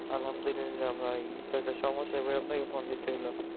আল্লাহামদুল্লিয়া ভাই এটা একটা সম্যসা পরে আপনাকে phone দিতে হলো